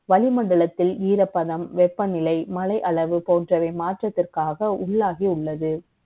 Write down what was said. வளிமண்டலத்தில் ஈரப்பதம், வெ ப்பநிலை, மழை அளவு ப ோன்றவை மாற்றத்திற்காக உள்ளாகி உள்ளது